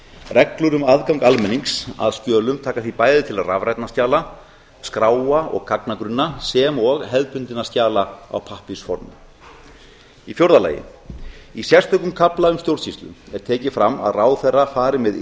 reglur um aðgang almennings að skjölum taka því bæði til rafrænna skjala skráa og gagnagrunna sem og hefðbundinna skjala í pappírsformi fjórða í sérstökum kafla um stjórnsýslu er tekið fram að ráðherra fari með